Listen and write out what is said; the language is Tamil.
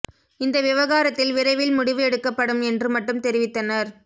இந்த விவகாரத்தில் விரை வில் முடிவு எடுக்கப்படும் என்று மட்டும் தெரிவித்தனர்